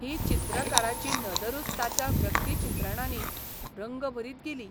ही चित्रकाराची नदरूच ताच्या व्यक्तिचित्रणांनी रंग भरीत गेली.